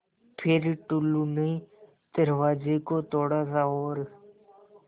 फ़िर टुल्लु ने दरवाज़े को थोड़ा सा और